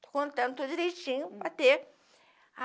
Estou contando, tudo direitinho, para ter.